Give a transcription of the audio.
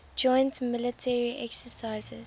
joint military exercises